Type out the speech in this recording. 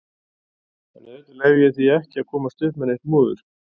Og auðvitað leyfi ég því ekki að komast upp með neitt múður.